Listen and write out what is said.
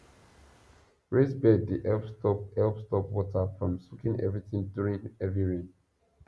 raised bed dey help stop help stop water from soaking everything during heavy rain